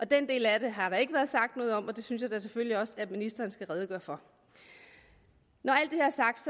den del af det har der ikke været sagt noget om og det synes jeg da selvfølgelig også at ministeren skal redegøre for når